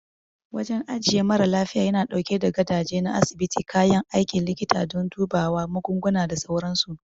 Wajen ajiye mara lafiya yana ɗauke da gadaje na asibiti, kayan aikin likita don dubawa, magunguna, da sauransu.